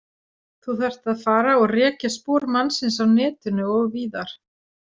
Þú þarft að fara og rekja spor mannsins á netinu og víðar.